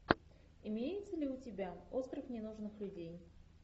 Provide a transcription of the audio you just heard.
имеется ли у тебя остров ненужных людей